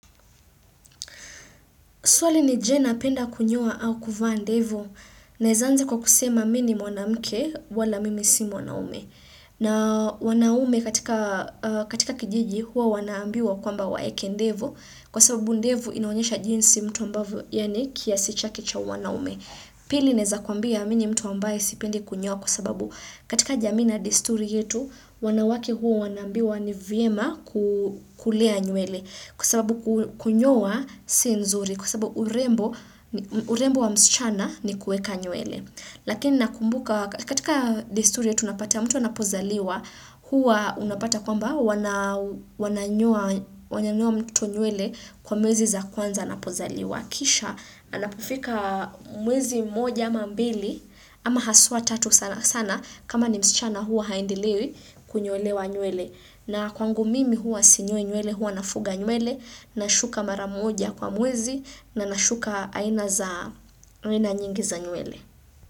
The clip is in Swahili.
Swali ni je napenda kunyoa au kuvaa ndevu naeza anza kwa kusema mi ni mwanamke wala mimi si mwanaume. Na wanaume katika kijiji huwa wanaambiwa kwamba waeke ndevu kwa sababu ndevu inaonyesha jinsi mtu ambavyo yani kiasi cha kicha uanaume. Pili naeza kuambia mi ni mtu ambaye sipendi kunyoa kwa sababu katika jamii na desturi yetu wanawake huwa wanaambiwa ni vyema kulea nywele kwa sababu kunyoa si nzuri. Kwa sababu urembo wa msichana ni kueka nywele. Lakini nakumbuka katika desturi yetu unapata mtu anapozaliwa huwa unapata kwamba wananyoa mtoto nywele kwa mwezi za kwanza anapozaliwa. Kisha anapofika mwezi moja ama mbili ama haswa tatu sana kama ni msichana hua haendelei kunyolewa nywele. Na kwangu mimi huwa sinyoi nywele, huwa nafuga nywele, nashuka mara moja kwa mwezi na nashuka aina za nyingi za nywele.